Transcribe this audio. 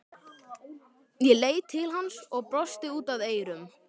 Ég leit til hans og brosti út að eyrum.